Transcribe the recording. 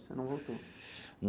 Você não voltou?